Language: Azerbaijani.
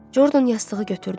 Jordan yastığı götürdü.